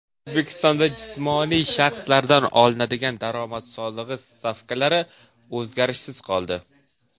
O‘zbekistonda jismoniy shaxslardan olinadigan daromad solig‘i stavkalari o‘zgarishsiz qoldi.